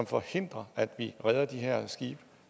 forhindrer at vi redder de her skibe